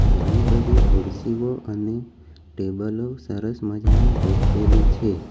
ઘણી બધી ખુરશીઓ અને ટેબલો સરસ મજાની ગોઠવેલી છે.